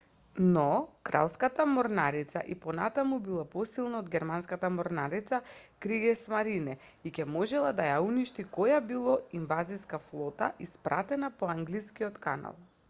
"но кралската морнарица и понатаму била посилна од германската морнарица kriegsmarine" и ќе можела да ја уништи која било инвазиска флота испратена по англискиот канал.